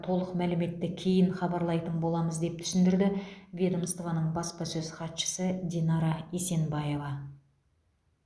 толық мәліметті кейін хабарлайтын боламыз деп түсіндірді ведомствоның баспасөз хатшысы динара есенбаева